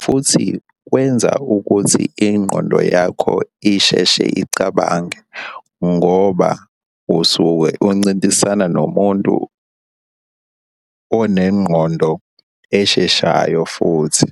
futhi kwenza ukuthi ingqondo yakho isheshe icabange ngoba usuke uncintisana nomuntu onengqondo esheshayo futhi.